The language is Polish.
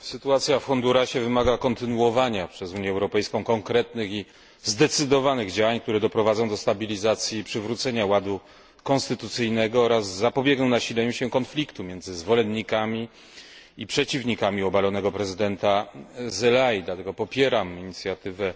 Sytuacja w Hondurasie wymaga kontynuowania przez Unię Europejską konkretnych i zdecydowanych działań, które doprowadzą do stabilizacji i przywrócenia ładu konstytucyjnego oraz zapobiegną nasileniu się konfliktu między zwolennikami i przeciwnikami obalonego prezydenta Zelayi. Dlatego popieram inicjatywę